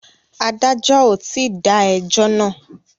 Adájọ́ ò tí dá ẹjọ́ náà.